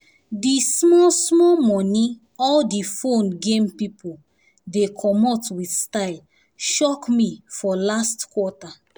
di small small money all di phone game people dey comot with sytle shock me for last quarter